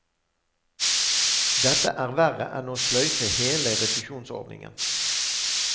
Dette er verre enn å sløyfe hele refusjonsordningen.